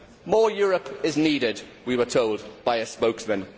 More Europe is needed, we were told by a spokesman.